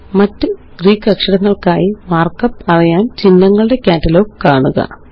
മറ്റ് ഗ്രീക്ക് അക്ഷരങ്ങള്ക്കായി മാര്ക്കപ്പ് അറിയാന് ചിഹ്നങ്ങളുടെ കാറ്റലോഗ് കാണുക